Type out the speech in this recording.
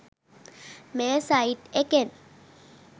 මේ සයිට් එකෙන්